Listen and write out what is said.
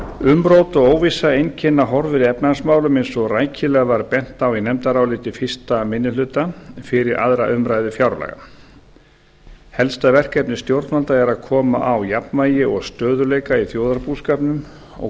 umrót og óvissa einkenna horfur í efnahagsmálum eins og rækilega var bent á í nefndaráliti fyrsti minni hluta fyrir aðra umræðu fjárlaga helsta verkefni stjórnvalda er að koma á jafnvægi og stöðugleika í þjóðarbúskapnum og